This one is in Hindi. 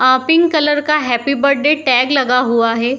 अ पिंक कलर का हैप्पी बर्थडे टैग लगा हुआ है।